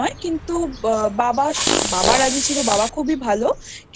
কিন্তু বাবা রাজি ছিল বাবা খুবই ভালো কিন্তু